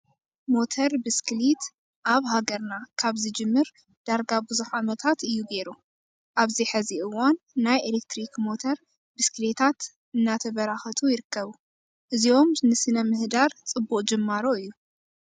ሞተር ብስክሊት ኣብ ሃገርና ካብ ዝጅምር ድርጋ ብዙሕ ዓመታት እዩ ገይሩ። ኣብዚ ሕዚ እዋን ናይ ኤሌትሪክ ሞተር ብስክሌታት እናተበራኸቱ ይርከቡ። እዚኦም ንስነምህዳር ፅቡቅ ጅማሮ እዩ።